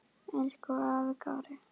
Elsku afi Kári.